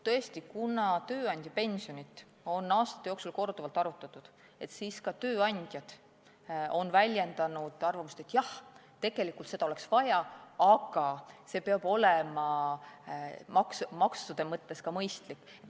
Tõesti, kuna tööandjapensionit on aasta jooksul korduvalt arutatud, siis on ka tööandjad väljendanud arvamust, et tegelikult oleks seda vaja, aga see peab olema maksude mõttes mõistlik.